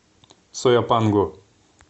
сояпанго